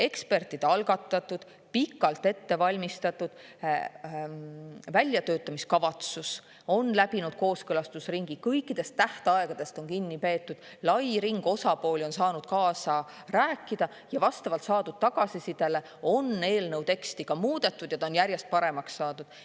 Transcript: Ekspertide algatatud ja pikalt ettevalmistatud väljatöötamiskavatsus on läbinud kooskõlastusringi, kõikidest tähtaegadest on kinni peetud, lai ring osapooli on saanud kaasa rääkida ja vastavalt saadud tagasisidele on eelnõu teksti muudetud ja seda on järjest paremaks saadud.